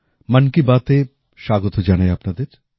মন কি বাতে স্বাগত জানাই আপনাদের